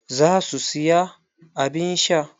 Za su siya abun sha.